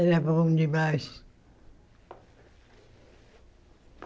Era bom demais.